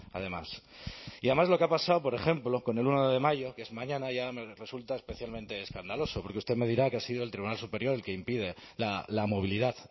además y además lo que ha pasado por ejemplo con el uno de mayo que es mañana ya me resulta especialmente escandaloso porque usted me dirá que ha sido el tribunal superior el que impide la movilidad